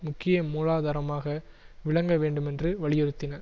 முக்கிய மூலாதாரமாக விளங்க வேண்டுமென்று வலியுறுத்தின